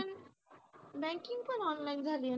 banking पण online झालीये